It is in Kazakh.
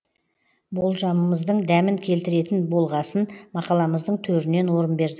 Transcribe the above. болжамымыздың дәмін келтіретін болғасын мақаламыздың төрінен орын бердік